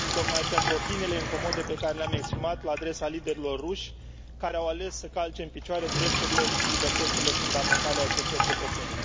Tocmai pentru opiniile incomode pe care le am exprimat la adresa liderilor ruși, care au ales să calce în picioare drepturile și libertățile fundamentale ale acestor cetățeni.